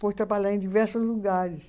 foi trabalhar em diversos lugares.